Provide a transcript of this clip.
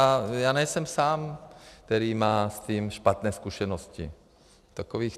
A já nejsem sám, kdo má s tím špatné zkušenosti, takových...